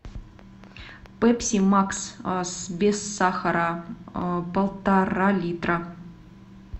пепси макс без сахара полтора литра